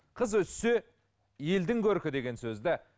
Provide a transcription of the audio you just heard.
қыз өссе елдің көркі деген сөзді